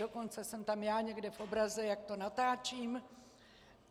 Dokonce jsem tam já někde v obraze, jak to natáčím.